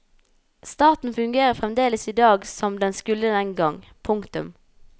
Staten fungerer fremdeles i dag som den skulle den gang. punktum